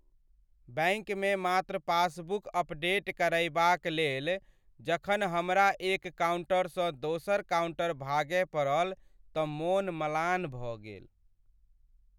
बैंकमे मात्र passbook update करयबाकलेल जखन हमरा एक काउन्टरसँ दोसर काउन्टर भागय पड़ल तँ मोन म्लान भ गेल।